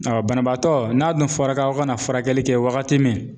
banabaatɔ ,n'a dun fɔra i ka na furakɛli kɛ wagati min